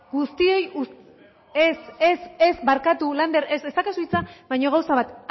ez ez barkatu lander ez daukazu hitza baina gauza bat